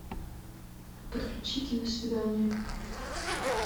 подключи киносвидание